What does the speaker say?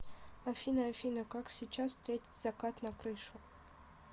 афина афина как сейчас встретить закат на крышу